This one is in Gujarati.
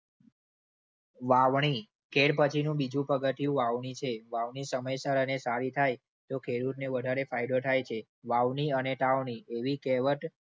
વાવણી. કેળ પછીનું બીજું પગથિયું વાવણી છે. વાવણી સમયસર અને સારી થાય તો ખેડૂતને વધારે ફાયદો થાય છે. વાવણી અને સાવની એવી કહેવત